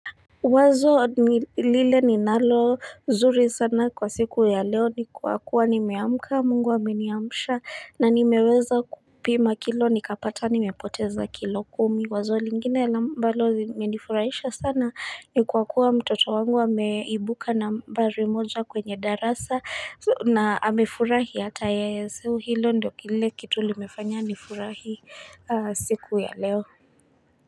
Wazo ni lile ninalo zuri sana kwa siku ya leo ni kuwa kuwa nimeamka mungu ameniamsha na nimeweza kupima kilo nikapata nimepoteza kilo kumi wazo lingine la ambalo limenifurahisha sana ni kuwa kuwa mtoto wangu ameibuka nambari moja kwenye darasa na amefurahi hata yeye so hilo ndio kile kitu limefanya nifurahi siku ya leo.